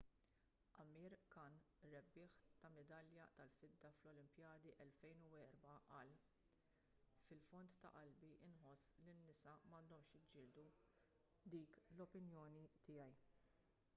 amir khan rebbieħ ta' midalja tal-fidda fl-olimpijadi tal-2004 qal fil-fond ta' qalbi nħoss li n-nisa m'għandhomx jiġġieldu dik l-opinjoni tiegħi